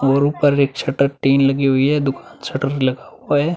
और ऊपर एक छटर टिन लगी हुई है। दु छटर लगा हुआ है।